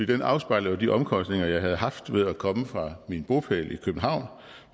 den afspejler jo de omkostninger jeg havde haft ved at komme fra min bopæl i københavn